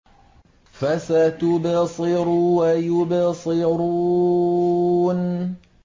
فَسَتُبْصِرُ وَيُبْصِرُونَ